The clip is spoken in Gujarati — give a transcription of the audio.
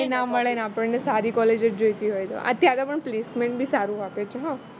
ના મળે ને આપણને સારી college જ જોઈતી હોય અત્યારે પણ સારું આપે છે